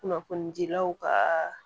Kunnafonidilaw kaa